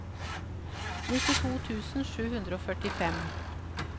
nittito tusen sju hundre og førtifem